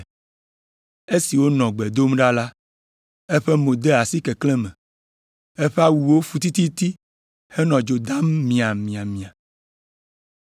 Esi wònɔ gbe dom ɖa la, eƒe mo de asi keklẽ me. Eƒe awuwo fu tititi henɔ dzo dam miamiamia.